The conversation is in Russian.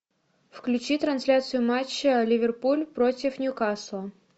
включи трансляцию матча ливерпуль против ньюкасла